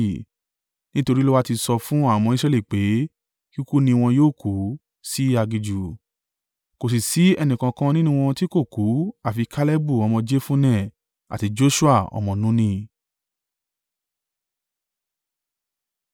Nítorí Olúwa ti sọ fún àwọn ọmọ Israẹli pé kíkú ni wọn yóò kú sí aginjù, kò sì sí ẹnìkankan nínú wọn tí kò kú àfi Kalebu ọmọ Jefunne, àti Joṣua ọmọ Nuni.